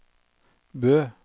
Bø